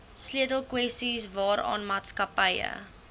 sleutelkwessies waaraan maatskappye